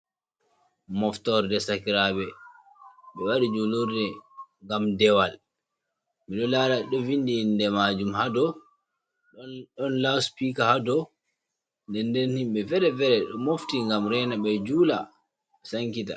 Mooftorde sakiraaɓe, ɓe waɗi juulurde ngam dewal, mi ɗo laara ɗo vinndi innde maajum ha dow, ɗon "laspiika" ha dow. Ndennden himɓe feere-feere ɗo mofti ngam reena ɓe juula sankita.